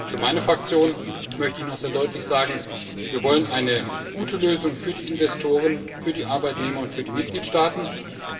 Für meine Fraktion möchte ich noch sehr deutlich sagen, dass wir eine gute Lösung für die Investoren, die Arbeitnehmer und die Mitgliedstaaten wollen.